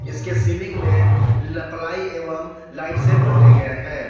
इसके सीलिंग में प्लाई एवं लाइट से बने गए हैं।